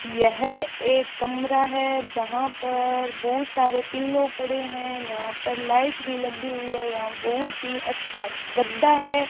यह एक कमरा है जहां पर बहुत सारे पिल्लो पड़े हैं यहां पर लाइट भी लगी हुई है यहां बहुत ही अच्छा गद्दा है।